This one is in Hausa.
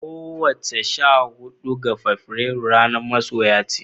kowace sha hudu ga Fabrairu ranar soyayya ce.